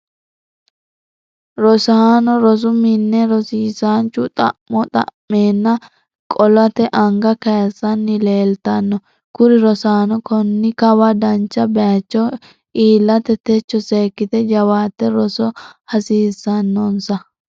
rosaano rosu minne rosiisanchu xa'mo xa'meenna qolate anga kayiisanni leelitanno kuri rosaano konni Kawa dancha bayicho iilate techo seekite jawaate Rosa hasiisanonnisa